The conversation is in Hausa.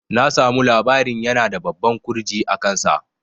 Na samu labarin yana da babban ƙurji a kan sa